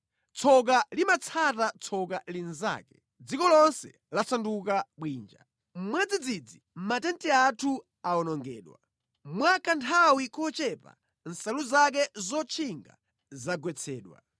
Tsoka limatsata tsoka linzake; dziko lonse lasanduka bwinja. Mwadzidzidzi matenti athu awonongedwa, mwa kanthawi kochepa nsalu zake zotchinga zagwetsedwa.